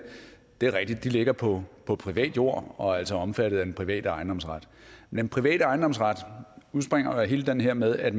ligger på på privat jord og altså er omfattet af den private ejendomsret den private ejendomsret udspringer jo af hele det her med at